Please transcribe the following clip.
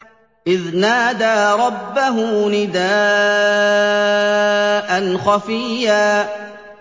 إِذْ نَادَىٰ رَبَّهُ نِدَاءً خَفِيًّا